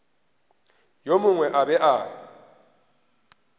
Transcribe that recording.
yo mongwe a be a